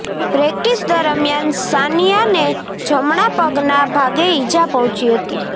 practice દરમિયાન સાનિયાને જમણા પગના ભાગે ઇજા પહોંચી હતી